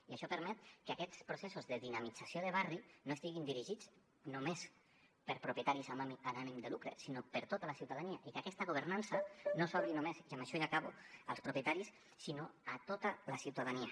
i això permet que aquests processos de dinamització de barri no estiguin dirigits només per propietaris amb ànim de lucre sinó per tota la ciutadania i que aquesta governança no s’obri només i amb això ja acabo als propietaris sinó a tota la ciutadania